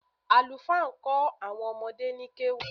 Àlùfáà ń kó àwọn ọmọdé ni kéwú